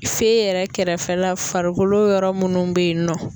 Fe yɛrɛ kɛrɛfɛla farikolo yɔrɔ munnu be yen nɔ.